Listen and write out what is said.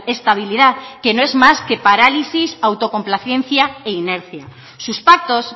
estabilidad que no es más que parálisis autocomplacencia e inercia sus pactos